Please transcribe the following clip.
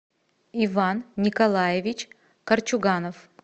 иван николаевич корчуганов